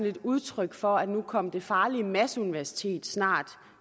et udtryk for at nu kom det farlige masseuniversitet snart